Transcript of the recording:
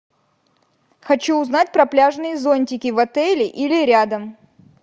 хочу узнать про пляжные зонтики в отеле или рядом